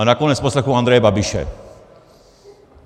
A nakonec poslechnu Andreje Babiše.